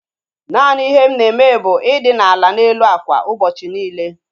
Naanị ihe m na-eme bụ i dina ala n'elu ákwà ụbọchị niile